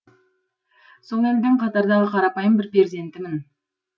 сол елдің қатардағы қарапайым бір перзентімін